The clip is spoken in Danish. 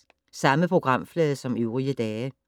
Samme programflade som øvrige dage